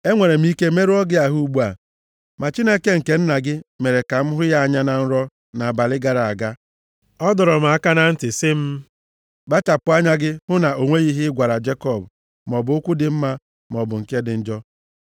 Enwere m ike merụọ gị ahụ ugbu a, ma Chineke nke nna gị mere ka m hụ ya anya na nrọ nʼabalị gara aga. Ọ dọrọ m aka na ntị sị m, ‘Kpachapụ anya gị hụ na o nweghị ihe ị gwara Jekọb, maọbụ okwu dị mma, maọbụ nke dị njọ.’